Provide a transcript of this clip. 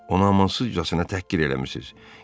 Ona amansızcasına təhqir eləmisiz.